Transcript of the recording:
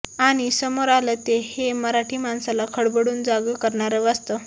आणि समोर आलं ते हे मराठी माणसाला खडबडून जागं करणारं वास्तव